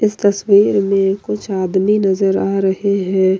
इस तस्वीर में कुछ आदमी नजर आ रहे हैं।